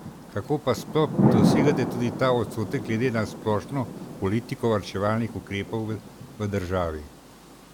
Kako pa sploh dosegate tudi ta odstotek glede na splošno politiko varčevalnih ukrepov v državi?